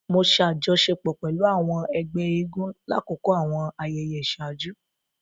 Mo ṣe àjọṣepọ̀ pẹlú àwọn ègbé eégún lakoko àwọn ayẹyẹ iṣaaju